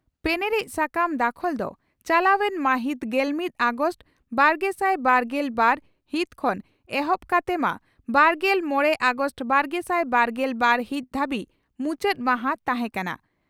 ᱯᱮᱱᱮᱨᱮᱡ ᱥᱟᱠᱟᱢ ᱫᱟᱠᱷᱚᱞ ᱫᱚ ᱪᱟᱞᱟᱣᱮᱱ ᱢᱟᱹᱦᱤᱛ ᱜᱮᱞᱢᱤᱛ ᱟᱜᱚᱥᱴ ᱵᱟᱨᱜᱮᱥᱟᱭ ᱵᱟᱨᱜᱮᱞ ᱵᱟᱨ ᱦᱤᱛ ᱠᱷᱚᱱ ᱮᱦᱚᱵ ᱠᱟᱛᱮ ᱢᱟᱹ ᱵᱟᱨᱜᱮᱞ ᱢᱚᱲᱮ ᱟᱜᱚᱥᱴ ᱵᱟᱨᱜᱮᱥᱟᱭ ᱵᱟᱨᱜᱮᱞ ᱵᱟᱨ ᱦᱤᱛ ᱫᱷᱟᱹᱵᱤᱡ ᱢᱩᱪᱟᱹᱫ ᱢᱟᱦᱟᱸ ᱛᱟᱦᱮᱸ ᱠᱟᱱᱟ ᱾